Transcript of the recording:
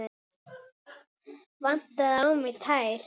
Vantaði á mig tær?